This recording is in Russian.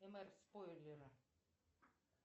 спойлера